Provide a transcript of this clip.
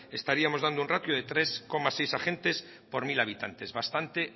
estaríamos dando un ratio de tres coma seis agentes por mil habitantes bastante